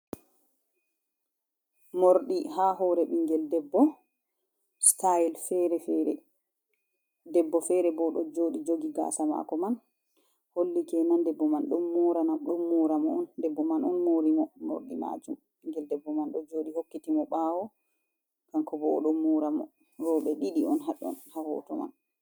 Mordi ha hore bingel debbo sitayel debbo fere bo do joɗi jogi gasa mako man holli kenan debbo man don mora mo on debbo man on mori mo morɗi majum bingel debbo man do joɗi hokkiti mo ɓawo kanko bo o don mora mo roɓe ɗiɗi on haɗon ha hoto man.